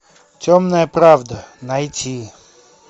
темная правда найти